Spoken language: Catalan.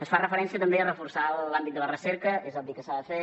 es fa referència també a reforçar l’àmbit de la recerca és obvi que s’ha de fer